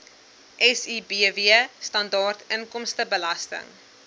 sibw standaard inkomstebelasting